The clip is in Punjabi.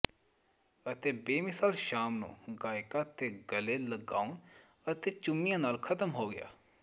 ਅਤੇ ਬੇਮਿਸਾਲ ਸ਼ਾਮ ਨੂੰ ਗਾਇਕਾਂ ਤੇ ਗਲੇ ਲਗਾਉਣ ਅਤੇ ਚੁੰਮਿਆਂ ਨਾਲ ਖਤਮ ਹੋ ਗਿਆ